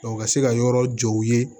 ka se ka yɔrɔ jɔ u ye